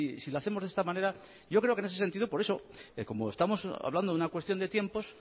si lo hacemos de esta manera yo creo que en ese sentido por eso como estamos hablando de una cuestión de tiempos